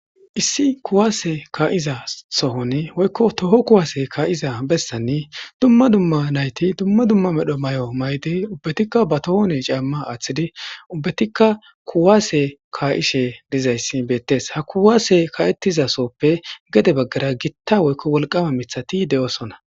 Issi kuwaase ka'iza sohon woykko toho kuwaase ka'iza bessanni dumma dumma nayti dumma dumma medho mayo mayidi ubbatikka ba tohone caamma aaththidi ubbatikka kuwaase ka'ishe diza issi beettes. Ha kuwaase ka'ettiza soppe gede baggara gitta woykko wolqama mithati de'osona.